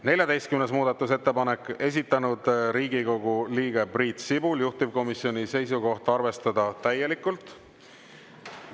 14. muudatusettepanek, esitanud Riigikogu liige Priit Sibul, juhtivkomisjoni seisukoht: arvestada täielikult.